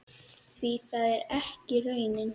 Því það er ekki raunin.